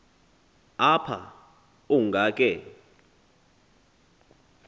apha unga ke